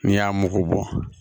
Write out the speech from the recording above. N'i y'a mugu bɔ